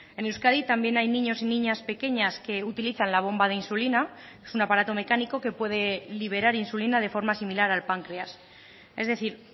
en euskadi también hay niños y niñas pequeñas que utilizan la bomba de insulina es un aparato mecánico que puede liberar insulina de forma similar al páncreas es decir